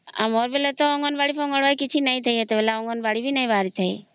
ଆମର ବେଳେ ତ ଅଙ୍ଗନବାଡି ଫଙ୍ଗନବାଡୀ କିଛି ନାହିଁ ସେତେବେଲେ ଅଙ୍ଗନବାଡି କିଛି ନାହିଁ ବାହାରି ଥାଏ